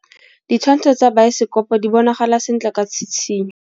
Ditshwantshô tsa biosekopo di bonagala sentle ka tshitshinyô.